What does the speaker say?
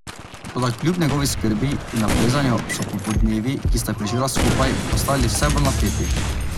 Toda kljub njegovi skrbi in naprezanju so popoldnevi, ki sta jih preživela skupaj, postajali vse bolj napeti.